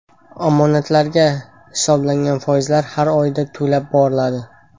Omonatlarga hisoblangan foizlar har oyda to‘lab boriladi.